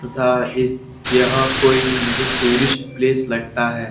तथा इस यह कोई मुझे टूरिस्ट प्लेस लगता है।